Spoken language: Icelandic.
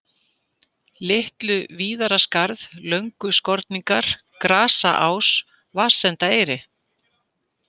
LitluVíðraskarð, Lönguskorningar, Grasaás, Vatnsendaeyri